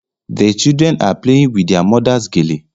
The children are playing with their mother's gele